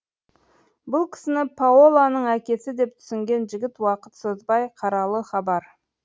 бұл кісіні паоланың әкесі деп түсінген жігіт уақыт созбай қаралы хабар